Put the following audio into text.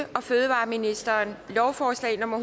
og fødevareministeren lovforslag nummer